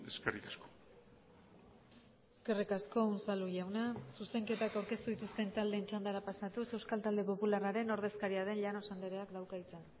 eskerrik asko eskerrik asko unzalu jauna zuzenketak aurkeztu dituzten taldeen txandara pasatuz euskal talde popularraren ordezkaria den llanos andreak dauka hitza